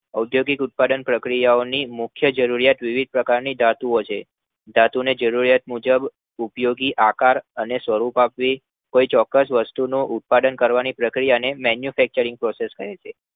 અદ્યોગિક ઉત્પાદન પ્રક્રિયા ઓની મુખ્ય જરૂરિયાત વિવિધ પ્રકારની ધાતુઓ છે. ધાતુને જરૂરિયાત મુજબ ઉપયોગી આકાર અને સ્વરૂપ આપવી કોઈ ચોક્કસ વસ્તુની ઉત્પાદન કરવાની પ્રક્રિયાને Manufacturing Process કહે છે